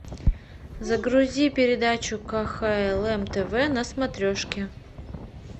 загрузи передачу кхлм тв на смотрешке